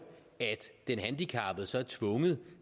at den handicappede så er tvunget